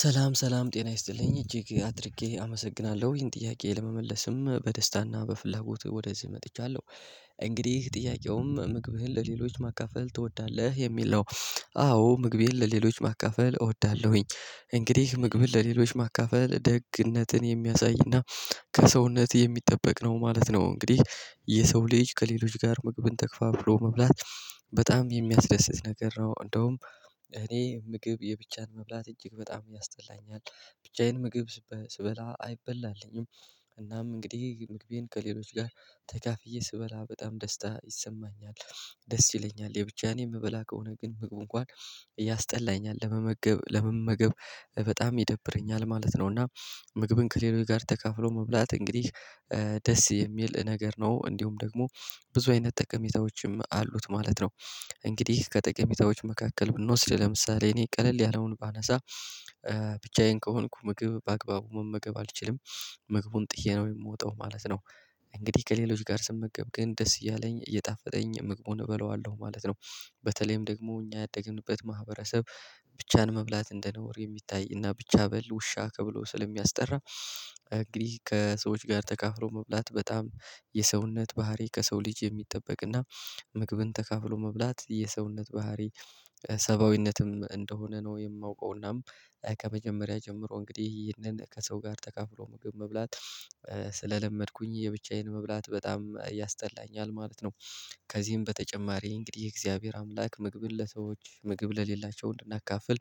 ሰላም ሰላም ጤና ይስጥልኝ እጅግ አድርጌ አመሰግናለሁ ይሄን ጥያቄ ለመመለስም በደስታና በፍላጎት ወደዚህ መጥቻለሁ። እንግዲህ ጥያቄውም ምግብህን ለሌሎች ማካፈል ትወዳለህ የሚል ነው? አዎ ምግቤን ለሌሎች ማካፈል እወዳለሁኝ። እንግዲህ ምግብን ለሌሎች ማካፈል ደግነትን የሚያሳይና። ከሰውነት የሚጠበቅ ነው ማለት ነው እንግዲህ የሰው ልጅ ከሌሎች ጋር ምግብን ተክፋ ብሎ መብላት በጣም የሚያስደስት ነገር ነው። እንደውም እኔ ምግብ የብቻን መብላት እጅግ በጣም ያስጠላኛል። ብቻዬን ምግብ ስበላ አይበላልኝም። እናም እንግዲህ ምግቤን ከሌሎች ጋር ተካፍዬ ስበላ በጣም ደስታ ይሰማኛል። ደስ ይለኛል የብቻዬን የምበላ ከሆነ ግን ምግቡ እንኳን እያስጠላኝ ለመመገብ ለመመገብ በጣም ይደብረኛል ማለት ነው። እና ምግብን ከሌሎች ጋር ተካፍሎ መብላት እንግዲህ ደስ የሚል ነገር ነው። እንዲሁም ደግሞ ብዙ አይነት ጠቀሜታዎችም አሉት ማለት ነው። እንግዲህ ከጠቀሜታዎች መካከል ብንወስድ ለምሳሌ እኔ ቀለል ያለውን ባነሳ። ብቻዬን ከሆንኩ ምግብ በአግባቡ መመገብ አልችልም። ምግቡን ጥዬ ነው የምወጣው ማለት ነው። እንግዲህ ከሌሎች ጋር ስመገብ ግን ደስ እያለኝ እየጣፈጠኝ ምግቡን እበለዋለሁ ማለት ነው። በተለይም ደግሞ እኛ ያደግንበት ማህበረሰብ ብቻን መብላት እንደነውር የሚታይና ብቻ በል ውሻ ተብሎ ስለሚያስጠራ። እንግዲህ ከሰዎች ጋር ተካፍሎ መብላት በጣም የሰውነት ባህሪ ከሰው ልጅ የሚጠበቅ እና ምግብን ተካፍሎ መብላት የሰውነት ባህሪ ሰብአዊነትም እንደሆነ ነው የማውቀውናም። ከመጀመሪያ ጀምሮ እንግዲህ ይህንን ከሰው ጋር ተካፍሎ ምግብ መብላት ስለለመድኩኝ የብቻዬን መብላት በጣም ያስጠላኛል ማለት ነው። ከዚህም በተጨማሪ እንግዲህ የእግዚአብሔር አምላክ ምግብን ለሰዎች ምግብ ለሌላቸው እንድናካፍል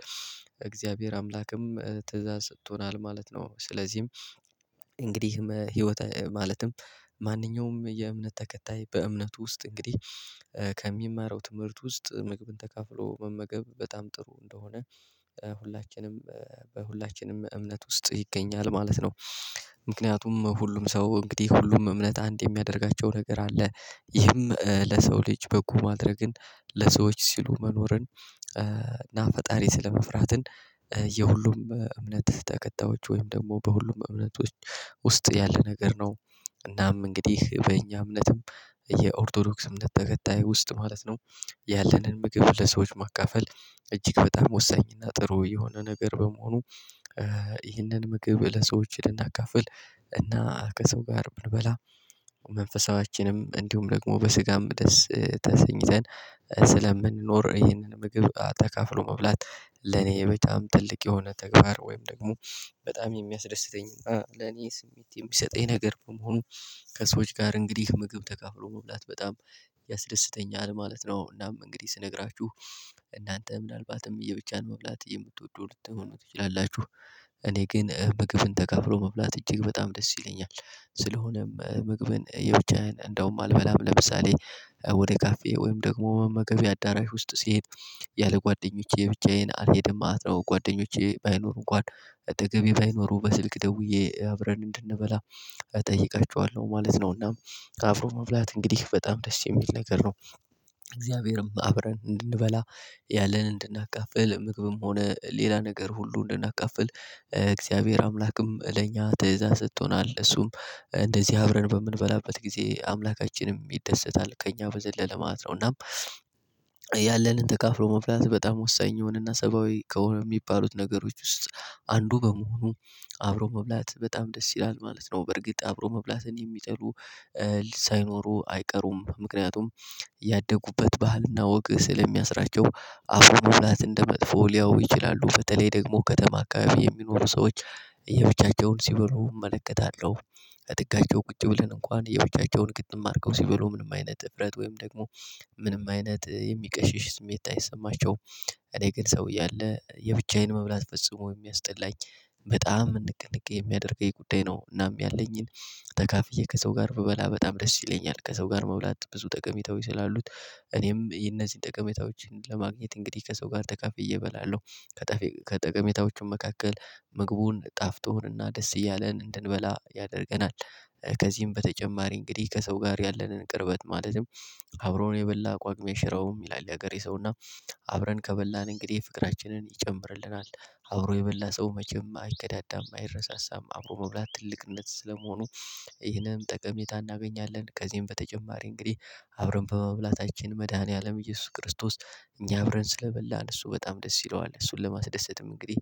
እግዚአብሔር አምላክም ትእዛዝ ሰጥቶናል ማለት ነው። ስለዚህም እንግዲህ ህይወት ማለትም ማንኛውም የእምነት ተከታይ በእምነት ውስጥ እንግዲህ ከሚማረው ትምህርት ውስጥ ምግብን ተካፍሎ መመገብ በጣም ጥሩ እንደሆነ ሁላችንም በሁላችንም እምነት ውስጥ ይገኛል ማለት ነው። ምክንያቱም ሁሉም ሰው እንግዲህ ሁሉም እምነት አንድ የሚያደርጋቸው ነገር አለ። ይህም ለሰው ልጅ በጎ ማድረግን ለሰዎች ሲሉ መኖርን እና ፈጣሪ ስለመፍራትን የሁሉም እምነት ተከታዮች ወይም ደግሞ በሁሉም እምነቶች ውስጥ ያለ ነገር ነው። እናም እንግዲህ በእኛ እምነትም የኦርቶዶክስ እምነትት ተከታይ ውስጥ ማለት ነው። ያለንን ምግብ ለሰዎች ማካፈል እጅግ በጣም ወሳኝና ጥሩ የሆነ ነገር በመሆኑ። ይህንን ምግብ ለሰዎች ልናካፍል እና ከሰው ጋር ብንበላ። መንፈሳችንም እንዲሁም ደግሞ በስጋም ደስ ተሰኝተን ስለምንኖር ይህንን ምግብ ተካፍሎ መብላት ለኔ በጣም ትልቅ የሆነ ተግባር ወይም ደግሞ በጣም የሚያስደስተኝ ለኔ ስሜት የሚሰጠኝ ነገር በመሆኑ። ከሰዎች ጋር እንግዲህ ምግብ ተካፍሎ መብላት በጣም ያስደስተኛል ማለት ነው። እናም እንግዲህ ስነግራችሁ እናንተ ምናልባትም የብቻን መብላት የምትወደው ልትሆኑ ትችላላችሁ። እኔ ግን ምግብን ተከፍሎ መብላት እጅግ በጣም ደስ ይለኛል። ስለሆነም ምግብን የብቻዬን እንደውም አልበላም ለምሳሌ ወደ ካፌ ወይም ደግሞ መመገቢያ አዳራሽ ውስጥ ስሄድ ያለ ጓደኞቼ ብቻዬን አልሄድም ማለት ነው። ጓደኞቼ ባይኖሩ እንኳን አጠገቤ ባይኖሩ በስልክ ደውዬ አብረን እጠይቀችኋለሁ ማለት ነው። እና አብሮ መብላት እንግዲህ በጣም ደስ የሚል ነገር ነው። እግዚአብሔርም አብረን እንድንበላ ያለን እንድናቃፍል ምግብም ሆነ ሌላ ነገር ሁሉ እንድናካፍል እግዚአብሔር አምላክም ለኛ ትእዛዝ ሰጥቶናል እሱም እንደዚህ አብረን በምንበላበት ጊዜ አምላካችንም ይደሰታል ከእኛ በዘለለ ማለት ነው። እናም ያለንን ተካፍሮ መብላት በጣም ወሳኝ የሆነና ሰብአዊ ከሆነ የሚባሉት ነገሮች ውስጥ አንዱ በመሆኑ። አብሮ መብላት በጣም ደስ ይላል ማለት ነው። በርግጥ አብሮ መብላትን የሚጠሉ ሳይኖሩ አይቀሩም ምክንያቱም። ያደጉበት ባህል እና ወግ ስለሚያስራቸው አብሮ መብላትን እንደመጥፎ ሊያየው ይችላሉ። በተለይ ደግሞ ከተማ አካባቢ የሚኖሩ ሰዎች የብቻቸውን ሲበሉ እመለከታለሁ። እጥጋቸው ቁጭ ብለን እንኳን የብቻቸውን ግጥም አድርገው ሲበሉ ምንም አይነት እፍረት ወይም ደግሞ ምንም አይነት የሚቀሽሽ ስሜት አይሰማቸውም። እኔ ግን ሰው እያለ አለ የብቻዬን መብላት ፈጽሞ የሚያስጠላኝ በጣም እንቅ እንቅ የሚያደርገኝ ጉዳይ ነው። እናም ያለኝን ተካፍዬ ከሰው ጋር ብበላ በጣም ደስ ይለኛል። ከሰው ጋር መብላት ብዙ ጠቀሜታዎች ስላሉት እኔም እነዚህን ጠቀሜታዎችን ለማግኘት እንግዲህ ከሰው ጋር ተካፍዬ እበላለሁ። ከጠቀሜታዎቹ መካከል ምግቡን ጣፍቶን እና ደስ እያለን እንድንበላ ያደርገናል። ከዚህም በተጨማሪ እንግዲህ ከሰው ጋር ያለንን ቅርበት ማለትም አብሮ የበላ ጳግሜ አይሽረውም ይላል የሀገሬ ሰው እና። አብረን ከበላን እንግዲህ ፍቅራችንን ይጨምርልናል። አብሮ የበላ ሰው መቼም አይከዳዳም አይረሳሳም አብሮ መብላት ትልቅነት ስለመሆኑ። ይህንን ጠቀሜታ እናገኛለን። ከዚህም በተጨማሪ እንግዲህ አብረን በመብላታችን መድኃኒዓለም ኢየሱስ ክርስቶስ እኛ አብረን ስለበላን እሱ በጣም ደስ ይለዋል። እሱን ለማስደሰትም እንግዲህ